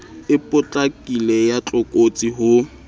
e potlakileng ya tlokotsi ho